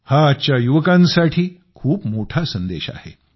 हा आजच्या युवकांसाठी खूप मोठा संदेश आहे